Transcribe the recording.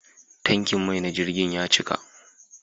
Tankin mai na jirgin ya cika.